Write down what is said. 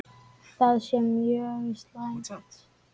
Það sé mjög slæmt.